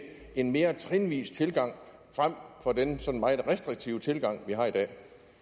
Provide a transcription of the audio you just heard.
en mere trinvis tilgang frem for den sådan meget restriktive tilgang vi har i dag